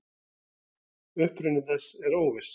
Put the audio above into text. Uppruni þess er óviss.